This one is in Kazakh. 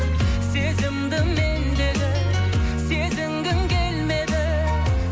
сезімді мендегі сезінгің келмеді